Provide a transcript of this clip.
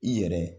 I yɛrɛ